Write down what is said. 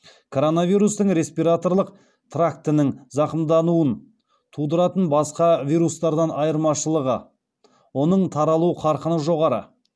короновирустың респираторлық трактінің зақымдануын тудыратын басқа вирустардан айырмашылығы оның таралу қарқыны жоғары